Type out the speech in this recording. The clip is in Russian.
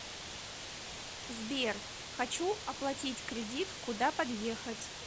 сбер хочу оплатить кредит куда подъехать